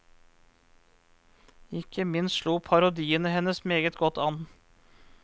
Ikke minst slo parodiene hennes meget godt an.